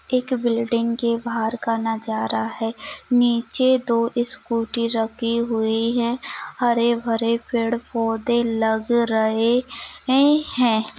एक बिल्डिंग के बाहर का नजारा है नीचे दो स्कूली रखी हुई है हरे-भरे पेड़-पौधे लग रहे ये है।